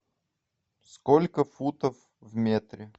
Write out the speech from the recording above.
сколько футов в метре